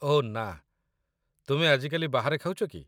ଓଃ ନା, ତୁମେ ଆଜିକାଲି ବାହାରେ ଖାଉଛ କି?